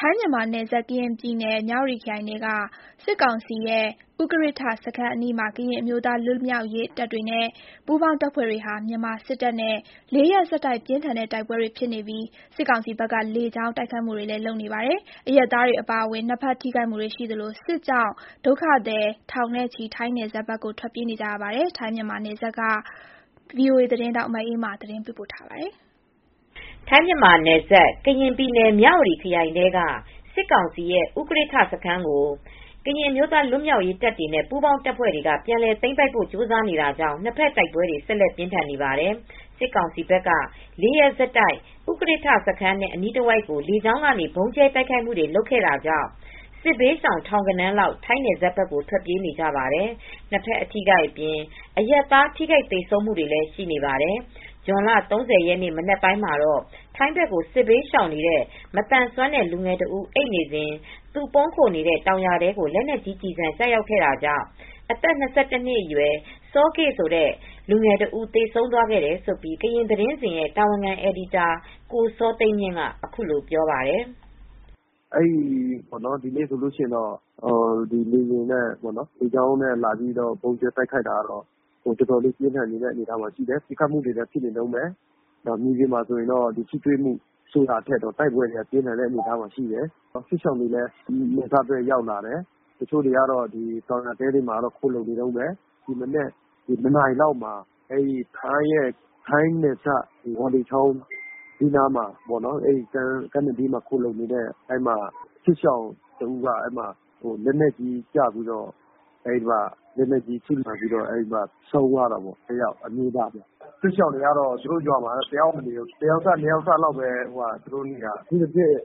ထိုင်းမြန်မာနယ်စပ် ကရင်ပြည်နယ် မြဝတီခရိုင်ထဲက စစ်ကောင်စီရဲ့ ဥကရစ်ထ စခန်းအနီးမှာ ကရင်အမျိုးသားလွတ်မြောက်ရေးတပ်တွေနဲ့ ပူးပေါင်းတပ်ဖွဲ့တွေဟာ မြန်မာစစ်တပ်နဲ့ လေးရက်ဆက်တိုက် ပြင်းထန်တဲ့တိုက်ပွဲတွေဖြစ်နေပြီး စစ်ကောင်စီဘက်က လေကြောင်းကနေ တိုက်ခိုက်နေပါတယ်။ အရပ်သားတွေအပါအဝင် နှစ်ဘက်ထိခိုက်မှုတွေရှိနေသလို စစ်ကြောင့် ဒေသခံထောင်ဂဏန်း ထိုင်းနယ်စပ်ဘက်ကို ထွက်ပြေးနေကြရပါယ်။ ထိုင်း-မြန်မာနယ်စပ်ကနေ ဗွီအိုအေ သတင်းထောက် မအေးအေးမာ သတင်းပေးပို့ထားပါတယ်။ ထိုင်းမြန်မာနယ်စပ် ကရင်ပြည်နယ် မြဝတီခရိုင်ထဲက စစ်ကောင်စီရဲ့ ဥကရစ်ထ စခန်းကို ကရင်အမျိုးသားလွတ်မြောက်ရေးတပ်တွေနဲ့ပူးပေါင်းတပ်ဖွဲတွေ ပြန်လည်သိမ်းပိုက်ဖို့ကြိုးစားနေတာကြောင့် နှစ်ဘက်တိုက်ပွဲတွေ ဆက်လက်ပြင်းထန်နေပါတယ်။ စစ်ကောင်စီဘက်က ၄ ရက်ဆက်တိုက် ဥကရစ်ထစခန်းနဲ့အနီးတဝိုက် ကို လေကြောင်းကနေ ဗုံးကြဲတိုက်ခိုက်ခဲ့တာကြောင့် စစ်ဘေးရှောင်ထောင်ဂဏန်းလောက် ထိုင်းနယ်စပ်ဘက်ကို ထွက်ပြေးနေကြပါတယ်။ နှစ်ဘက် အထိအခိုက် အပြင် အရပ်သားထိခိုက်သေဆုံးမှုတွေလည်း ရှိနေပါတယ်။ ဇွန်လ ၃၀ ရက်နေ့ မနက်မှာတော့ ထိုင်းဘက်ကို စစ်ဘေးရှောင်နေတဲ့ ၂၁ နှစ်အရွယ် မသန်စွမ်းတဲ့လူငယ်တဦး အိပ်နေစဉ် သူပုန်းခိုနေတဲ့တောင်ယာတဲကို လက်နက်ကြီးကျည်ဆံကျရောက်ခဲ့တာကြောင့် သေဆုံးသွားခဲ့တယ်လို့ ကရင်သတင်းစဉ်ရဲ့တာဝန်ခံအယ်ဒီတာ ကိုစောသိန်းမြင့်က ပြောပါတယ်။ “ ဒီနေ့ဆိုရင်တော့လေယာဉ်နဲ့လေကြောင်းကနေ ဗုံးကြဲတိုက်ခိုက်တာက အတော်လေးပြင်းထန်တယ်။ ပစ်ခတ်နေတုန်းပဲ။ မြေပြင်မှာထိတွေ့မှုဆိုတာထက် တိုက်ပွဲကပြင်းထန်တဲ့အနေအထားမှာရှိတယ်။ စစ်ဘေးရှောင်တွေလည်း နယ်စပ် ဘက်ရောက်လာတယ်။ တချို့ကတော့ တောင်ယာတဲတွေထဲမှာ ခိုလှုံနေကြတုန်းပဲ။ ဒီမနက် ၂ နာရီလောက်မှာတော့ ထိုင်းနယ်စပ် ဝေါလေချောင်း ကမ်းနဘေးမှာ ခိုလှုံနေတဲ့ စစ်ဘေးရှောင်တဦး လက်နက်ကြီးထိမှန်ပြီး ဆုံးသွားတာပေါ့။ အမျိုးသားတဦးပါ။ စစ်ရှောင်တွေက သူတို့ရွာတွေမှာမနေရဲတော့ဘူး။ တယောက်စ နှစ်ယောက်စလောက်ပဲနေကြတော့တယ်။ အထူးသဖြင့်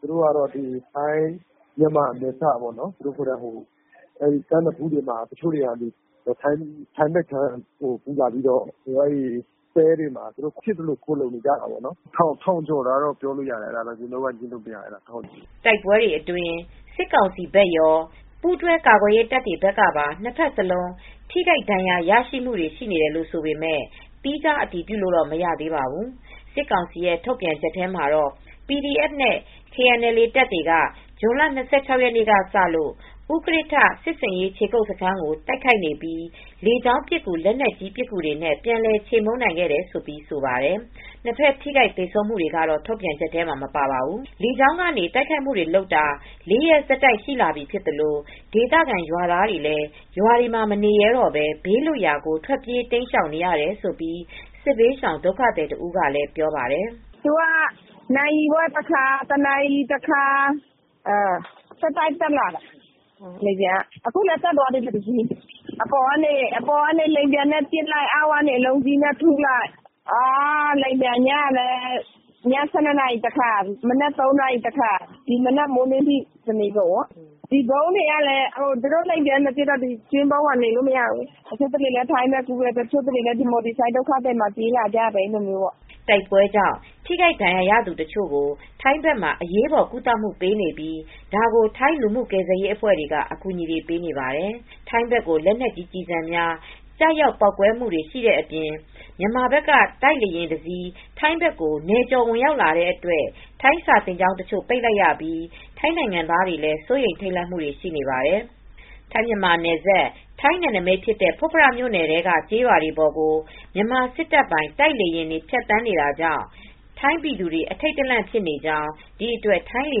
ထိုင်းမြန်မာနယ်စပ် ကမ်းနဖူးတွေမှာ တချို့တွေက ထိုင်းဘက်ခြမ်းကိုကူးလာပြီးတော့ တဲတွေမှာ ဖြစ်သလိုခိုလှုံနေကြတယ်။ လူဦးရေ ၁,၀၀၀ ကျော်တယ်လို့တော့ပြောလို့ရတယ်။ အဲဒါတော့လုံးဝငြင်းလို့မရဘူး။” တိုက်ပွဲအတွင်း စစ်ကောင်စီဘက်ရော၊ ပူးတွဲကာကွယ်ရေတပ်တွေဘက်ကပါ နှစ်ဘက်စလုံး ထိခိုက်ဒဏ်ရာရမှုတွေရှိတယ်လို့ဆိုပေမယ့် သီးခြားအတည်ပြုလို့ မရသေးပါဘူး။ စစ်ကောင်စီထုတ်ပြန်ချက်မှာတော့ PDF နဲ့ KNLA တပ်တွေက ဇွန်လ ၂၆ ရက်နေ့ကစလို့ ဥကရစ်ထစစ်ဆင်ရေးခြေကုပ်စခန်းကို တိုက်ခိုက်နေပြီး လေကြောင်းပစ်ကူ၊ လက်နက်ကြီးပစ်ကူတွေနဲ့ ပြန်လည်ချေမှုန်းနိုင်ခဲ့တယ်လို့ ဆိုပါတယ်။ နှစ်ဘက် ထိခိုက်သေဆုံးမှုတွေကတော့ ထုတ်ပြန်ချက်ထဲ မပါပါဘူး။ လေကြောင်းကနေတိုက်ခိုက်နေတာ ၄ ရက်ဆက်တိုက်ရှိလာပြီဖြစ်သလို ဒေသခံရွာသားတွေလည်း ရွာတွေမှာမနေရဲတော့ဘဲ ဘေးလွတ်ရာကိုထွက်ပြေးနေရတယ်လို့ စစ်ဘေးရှောင်ဒုက္ခသည်တဦးကပြောပါတယ်။ “သူတို့က နာရီဝက်တခါ၊ တနာရီတခါ ဆက်တိုက်တက်လာတယ်။ အခုလည်းတက်သွားတယ်။ အပေါ်က လေယာဉ်နဲ့ပစ်လို့ အောက်ကနေ အလုံးကြီး နဲ့ ထုလိုက်ပဲ။ လေယာဉ်ပျံက ည ၁၂ လောက်တခါ၊ မနက် ၃ နာရီလောက် တခါ အခု မနက်ပိုင်းမိုင်းလင်းလည်းလာတယ်။ တနေကုန်ပါပဲ၊ ဒီဗုံးခိုကျင်းတွေကလည်း သူတို့လေယာဉ်နဲ့ပစ်နေတော့ နေလို့မရပါဘူး။ တချို့လည်း ထိုင်းဘက်ကူးတယ်။ တချို့တွေလည်း မြန်မာပြည်ဘက် ဆိုဒ်က ဒုက္ခသည်တွေထားတဲ့နေရာဘက် ပြေးလာကြတယ်။” တိုက်ပွဲကြောင့် ထိခိုက်ဒဏ်ရာရသူတချို့ကို ထိုင်းဘက်မှာ အရေးပေါ်ကုသမှုပေးနေပြီး ဒါကို ထိုင်းလူမှုကယ်ဆယ်ရေးအဖွဲ့တွေက အကူအညီတွေပေးနေပါတယ်။ ထိုင်းဘက်ကို လက်နက်ကြီးကျည်ဆံများကျရောက်ပေါက်ကွဲမှုတွေရှိတာအပြင် မြန်မာဘက်က တိုက်လေယာဉ်တစီး ထိုင်းဘက်ကို နယ်ကျော်ဝင်ရောက်လာတဲ့အတွက် ထိုင်းစာသင်ကျောင်းတချို့ပိတ်လိုက်ရပြီး ထိုင်းနိုင်ငံသားတွေလည်း စိုးရိမ် ထိတ်လန့်နေပါတယ်။ ထိုင်း မြန်မာနယ်စပ် ထိုင်းနယ်နမိတ်ဖြစ်တဲ့ဖွတ်ဖရ မြိုနယ်ထဲက ကျေးရွာပေါ်ကို မြန်မာစစ်တပ်ပိုင် တိုက်လေယာဉ်တွေဖြတ်သန်းတာကြောင့် ထိုင်းပြည်သူတွေ အထိတ်တလန့်ဖြစ်နေကြောင်း၊ ဒီအတွက် ထိုင်းလေ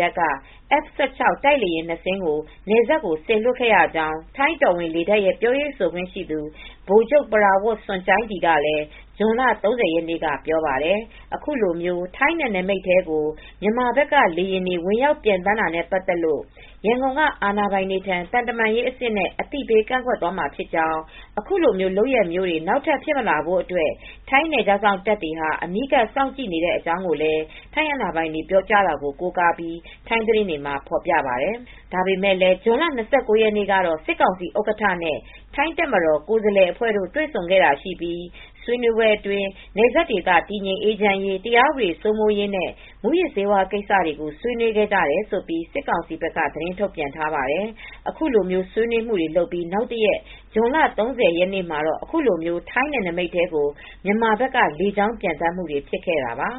တပ်က F16 တိုက်လေယာဉ် နှစ်စင်းကို နယ်စပ်ကိုစေလွှတ်ခဲ့ရကြောင်း၊ ထိုင်းတော်ဝင်လေတပ်ရဲ့ပြောရေးဆိုခွင့်ရှိသူ ဗိုလ်ချုပ် ပရာဝတ်စွန်ကျိုင်ဒီက ဇွန်လ ၃၀ ရက်နေ့က ပြောပါတယ်။ အခုလို ထိုင်းနယ်နမိတ်ထဲကို မြန်မာဘက်က လေယာဉ်တွေ ဝင်ရောက်ပျံသန်းတာနဲ့ပတ်သက်လို့ ရန်ကုန်က အာဏာပိုင်တွေထံ သံတမန်ရေးအဆင့်နဲ့ အသိပေးကန့်ကွက်သွားမှာဖြစ်ကြောင်း၊ အခုလိုလုပ်ရပ်မျိုးတွေ နောက်ထပ်ဖြစ်မလာဖို့အတွက် ထိုင်းနယ်ခြားစောင့်တပ်တွေဟာ အနီးကပ်စောင့်ကြည့်နေတဲ့အကြောင်းလည်း ထိုင်းအာဏာပိုင်တွေ ပြောဆိုတာ ကိုးကားပြီး ထိုင်းသတင်းတွေက ဖော်ပြပါတယ်။ ဒါပေမယ့်လည်း ဇွန်လ ၂၉ ရက်နေ့ကတော့ စစ်ကောင်စီဥက္ကဋ္ဌနဲ့ ထိုင်းတပ်မတော်ကိုယ်စားလှယ်အဖွဲ့တို့ တွေဆုံခဲ့တာရှိပြီး ဆွေးနွေးပွဲအတွင်း နယ်စပ်ဒေသ တည်ငြိမ် အေးချမ်းရေး၊ တရားဥပဒေစိုးမိုးရေးနဲ့ မူးယစ်ဆေးဝါးကိစ္စတွေကိုဆွေးနွေးခဲ့ကြတယ်လို့ စစ်ကောင်စီဘက်က သတင်းထုတ်ပြန်ထားပါတယ်။ အခုလို ဆွေနွေးမှုတွေလုပ်ပြီးနောက်တရက် ဇွန်လ ၃၀ ရက်နေ့မှာ အခုလို ထိုင်းနယ်နမိတ်ထဲကို မြန်မာဘက်ကလေကြောင်းပျံသန်းမူတွေဖြစ်ခဲ့တာပါ